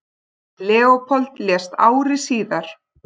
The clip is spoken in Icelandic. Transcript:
Leópold lést ári síðar.